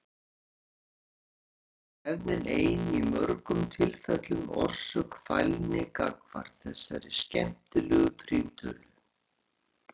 Eflaust er svo hefðin ein í mörgum tilfellum orsök fælni gagnvart þessari skemmtilegu prímtölu.